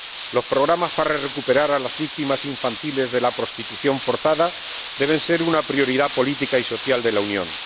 Los programas para recuperar a las víctimas infantiles de la prostitución forzada deben ser una prioridad política y social de la Unión.